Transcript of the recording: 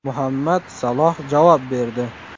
Muhammad Saloh javob berdi.